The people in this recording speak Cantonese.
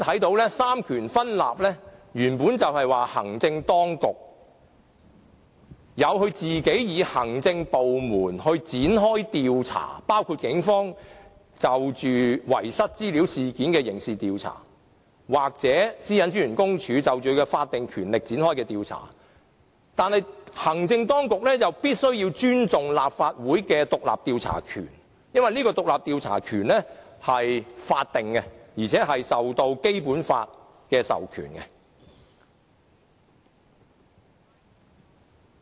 在三權分立下，行政當局可以讓其行政部門展開調查，包括警方就遺失資料事件作刑事調查或公署根據其法定權力展開調查，但行政當局必須要尊重立法會的獨立調查權，因為這獨立調查權是法定的，而且受到《基本法》的授權。